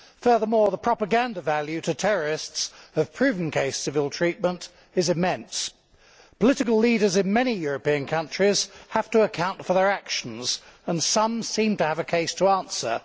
Furthermore, the propaganda value to terrorists of proven cases of ill treatment is immense. Political leaders in many European countries have to account for their actions, and some seem to have a case to answer.